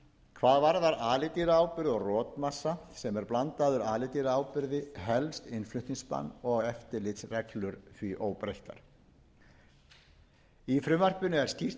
hvað varðar alidýraáburð og rotmassa sem er blandaður alidýraáburði helst innflutningsbann og eftirlitsreglur því óbreyttar í frumvarpinu er skýrt